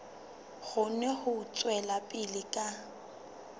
kgone ho tswela pele ka